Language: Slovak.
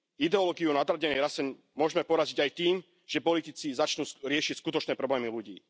Ideológiu nadradenej rase môžeme poraziť aj tým, že politici začnú riešiť skutočné problémy ľudí.